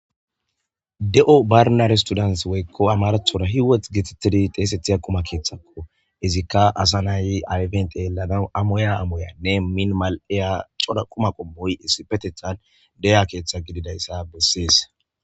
de7o barnar studant woykko amarathora hiwoth getetidi xeesethiya quma keeththakko izikka asa nay ayfent yeladan amoya amoyanne minimal7eya cora quma qommoy issi petethan deya keeththa gididayssa bessees